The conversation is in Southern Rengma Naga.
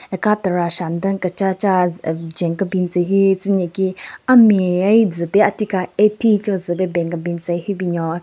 Aka terasha nden kechacha jwen kebin tsü hyu tsü nyeki ame ai zü pe ati ka eighty cho zü pe ben kebin tsü hyu binyon.